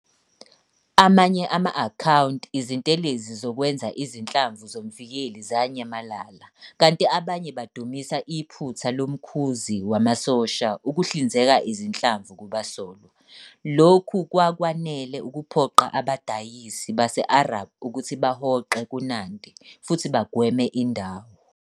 Amanye ama-akhawunti Izintelezi zokwenza izinhlamvu zomvikeli zanyamalala, kanti abanye badumisa iphutha lomkhuzi wamasosha ukuhlinzeka izinhlamvu kubasolwa. Lokhu kwakwanele ukuphoqa abadayisi base-Arab ukuthi bahoxe kuNandi futhi bagweme indawo.